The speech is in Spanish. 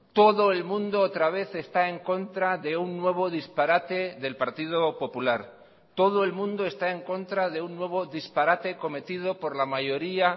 todo el mundo otra vez está en contra de un nuevo disparate del partido popular todo el mundo está en contra de un nuevo disparate cometido por la mayoría